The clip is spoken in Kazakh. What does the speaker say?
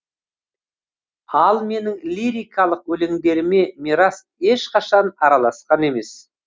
ал менің лирикалық өлеңдеріме мирас ешқашан араласқан емес